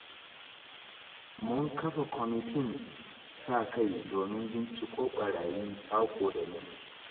Mun kafa kwamatin sa-kai, domin binciko ɓarayi saƙo da lungu.